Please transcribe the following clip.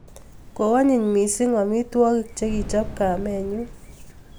Koanyiny missing' amitwogik che kichop kamennyu